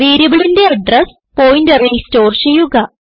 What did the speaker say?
വേരിയബിളിന്റെ അഡ്രസ് പോയിന്ററിൽ സ്റ്റോർ ചെയ്യുക